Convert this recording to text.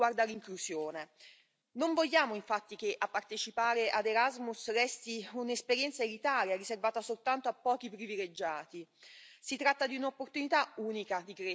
È stato fatto un ottimo lavoro anche per quanto riguarda l'inclusione non vogliamo, infatti, che la partecipazione al programma Erasmus resti un'esperienza elitaria riservata soltanto a pochi privilegiati.